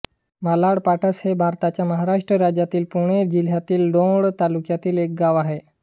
मालाडपाटस हे भारताच्या महाराष्ट्र राज्यातील पुणे जिल्ह्यातील दौंड तालुक्यातील एक गाव आहे